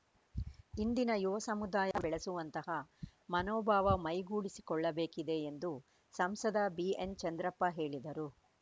ಇಂದಿನ ಯುವ ಸಮುದಾಯ ಬೆಳೆಸುವಂತಹ ಮನೋಭಾವ ಮೈಗೂಡಿಸಿಕೊಳ್ಳಬೇಕಿದೆ ಎಂದು ಸಂಸದ ಬಿಎನ್‌ಚಂದ್ರಪ್ಪ ಹೇಳಿದರು